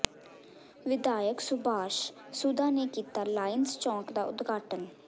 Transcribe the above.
ਵਿਧਾਇਕ ਸੁਭਾਸ਼ ਸੁਧਾ ਨੇ ਕੀਤਾ ਲਾਇੰਸ ਚੌਕ ਦਾ ਉਦਘਾਟਨ